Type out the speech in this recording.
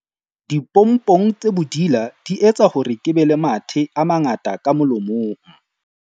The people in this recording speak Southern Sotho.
Dipompong tse bodila di etsa hore ke be le mathe a mangata ka molomong.